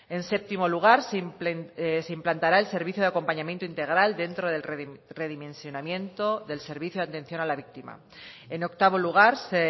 en séptimo lugar se implantará el servicio de acompañamiento integral dentro del redimensionamiento del servicio de atención a la víctima en octavo lugar se